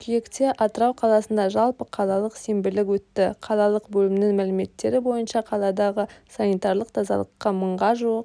қыркүйекте атырау қаласында жалпы қалалық сенбілік өтті қалалық бөлімінің мәліметтері бойынша қаладағы санитарлық тазалыққа мыңға жуық